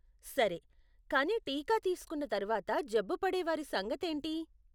సరే, కానీ టీకా తీస్కున్న తర్వాత జబ్బు పడే వారి సంగతి ఏంటి?